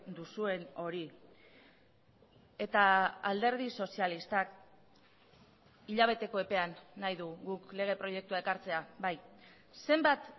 duzuen hori eta alderdi sozialistak hilabeteko epean nahi du guk lege proiektua ekartzea bai zenbat